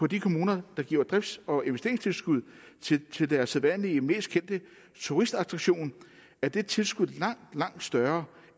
de kommuner der giver drifts og investeringstilskud til deres sædvanlige mest kendte turistattraktion er det tilskud langt langt større